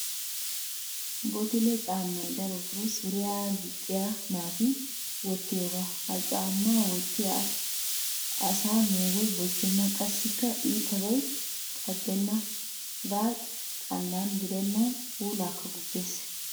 Bottle caammay darotoo suriya gixxiyaa naati wottiyoogaa. Ha caammaa wottiday asa meegoy boccenna qassikka iitabay caddenna hegaa xallan gidenna puulaakka gujjes.